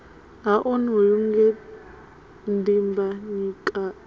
ha onoyu nge dimbanyika a